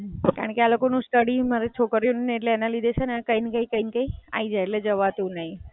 કારણ કે આ લોકોનું સ્ટડિ, મારી છોકરીઓ નું ને એટલે એના લીધે છે ને કઈ ને કઈ, કઈ ને કઈ થય જાય એટલે જવાતું નહીં.